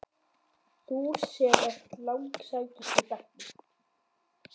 Þú sem ert lang sætust í bekknum.